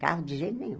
Carro de jeito nenhum.